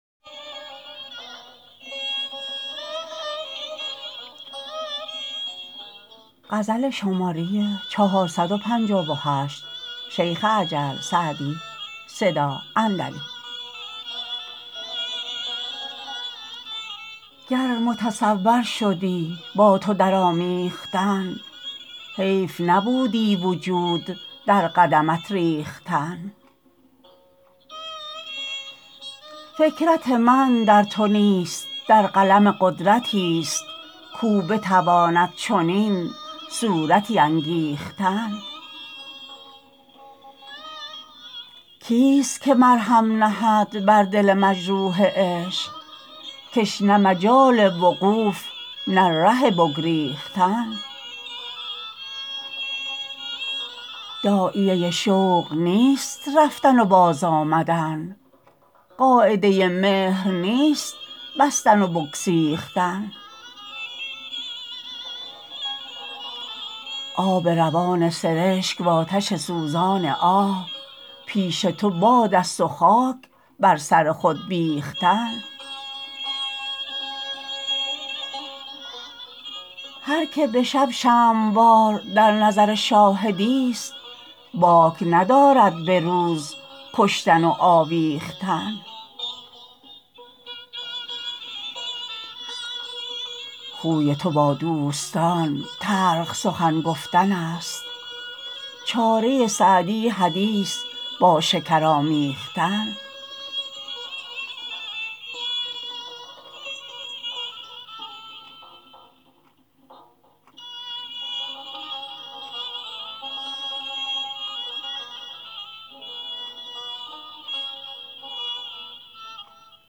گر متصور شدی با تو در آمیختن حیف نبودی وجود در قدمت ریختن فکرت من در تو نیست در قلم قدرتی ست کاو بتواند چنین صورتی انگیختن کی ست که مرهم نهد بر دل مجروح عشق که ش نه مجال وقوف نه ره بگریختن داعیه شوق نیست رفتن و باز آمدن قاعده مهر نیست بستن و بگسیختن آب روان سرشک وآتش سوزان آه پیش تو باد است و خاک بر سر خود بیختن هر که به شب شمع وار در نظر شاهدی ست باک ندارد به روز کشتن و آویختن خوی تو با دوستان تلخ سخن گفتن است چاره سعدی حدیث با شکر آمیختن